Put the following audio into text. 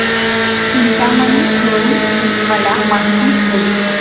चिंतामणी थेऊर ची मला माहिती दे